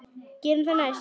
Gerum það næst.